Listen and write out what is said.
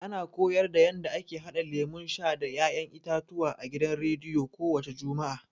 A na koyarda yanda ake haɗa lemun sha da ya'yan itatuwa a gidan rediyo ko wace juma'a.